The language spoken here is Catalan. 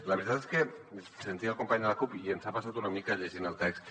la veritat és que sentia el company de la cup i ens ha passat una mica llegint el text